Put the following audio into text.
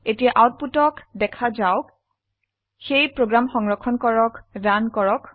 এতিয়া আউটপুটক দেখা যাওক সেয়ে প্ৰোগ্ৰাম সংৰক্ষণ কৰক ৰান কৰক